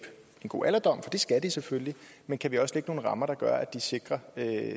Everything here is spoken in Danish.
en god alderdom det skal de selvfølgelig men kan vi også lægge nogle rammer der gør at de sikrer